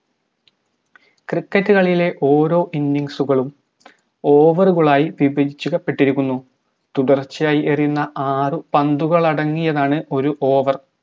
cricket ലെ ഓരോ innings കളും over കളായി വിഭജി ക്കപെട്ടിരിക്കുന്നു തുടർച്ചയായി എറിയുന്ന ആറ് പന്തുകളാണ് ഒര് over